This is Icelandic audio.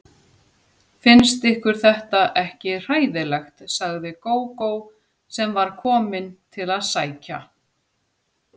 Finnst ykkur þetta ekki hræðilegt, sagði Gógó sem var komin til að sækja